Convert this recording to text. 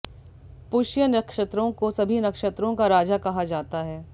पुष्य नक्षत्रों को सभी नक्षत्रों का राजा कहा जाता है